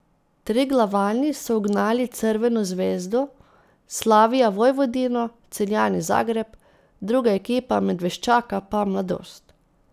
Triglavani so ugnali Crveno zvezdo, Slavija Vojvodino, Celjani Zagreb, druga ekipa Medveščaka pa Mladost.